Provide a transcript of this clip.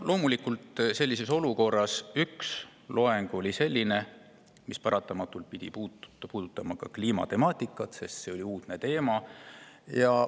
Loomulikult, sellises olukorras pidi üks loeng paratamatult puudutama ka kliimatemaatikat, sest see oli uudne teema.